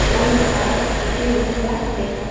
वो इंसान ह एति वोति ला देखत हे।